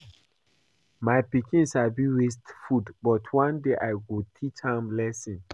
My pikin sabi waste food but one day I go teach am lesson